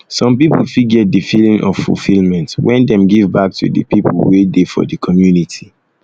um some pipo um fit get di feeling of fulfillment when dem give um back to di people wey dey for di community